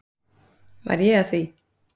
Var ég að því?